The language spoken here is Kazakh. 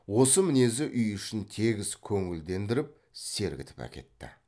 осы мінезі үй ішін тегіс көңілдендіріп сергітіп әкетті